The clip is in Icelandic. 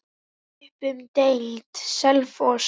Upp um deild:, Selfoss